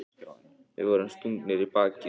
Við vorum stungnir í bakið.